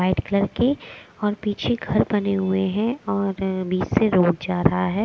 White colour के और पीछे घर बने हुए हैं और बीच से रोड जा रहा है।